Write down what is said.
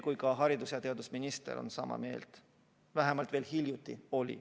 Ka haridus- ja teadusminister on sama meelt, vähemalt veel hiljuti oli.